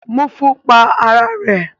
Mufu pa ara ẹ̀